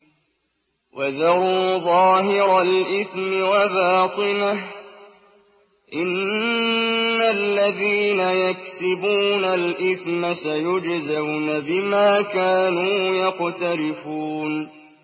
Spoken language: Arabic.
وَذَرُوا ظَاهِرَ الْإِثْمِ وَبَاطِنَهُ ۚ إِنَّ الَّذِينَ يَكْسِبُونَ الْإِثْمَ سَيُجْزَوْنَ بِمَا كَانُوا يَقْتَرِفُونَ